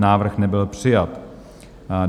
Návrh nebyl přijat.